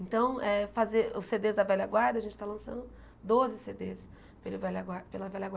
Então eh, fazer os Cê Dês da Velha Guarda, a gente está lançando doze Cê Dês pela Velha Guarda pela velha guarda.